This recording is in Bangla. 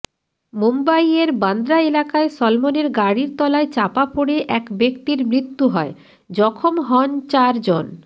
মুম্বইয়ের বান্দ্রা এলাকায় সলমনের গাড়ির তলায় চাপা পড়ে এক ব্যক্তির মৃত্যু হয় জখম হন চারজন